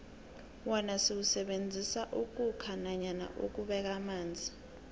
wona siwusebenzisela ukhukha nanyana ukubeka amanzi